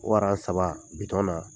o saba bi